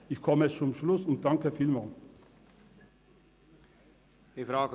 Ich komme zum Schluss und danke vielmals für die Aufmerksamkeit.